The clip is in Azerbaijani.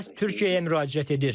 O məhz Türkiyəyə müraciət edir.